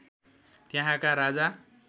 त्यहाँका राजा